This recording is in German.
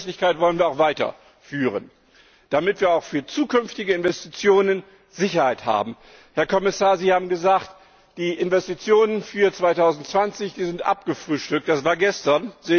Diese Verlässlichkeit wollen wir auch weiterführen, damit wir auch für zukünftige Investitionen Sicherheit haben. Herr Kommissar, Sie haben gesagt, die Investitionen für 2020 seien abgefrühstückt, das war gestern.